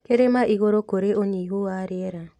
Kĩrĩma igũrũ kũrĩ ũnyihu wa rĩera